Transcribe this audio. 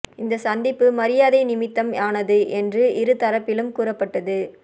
இந்த சந்திப்பு மரியாதை நிமித்தம் ஆனது என்று இரு தரப்பிலும் கூறப்பட்டது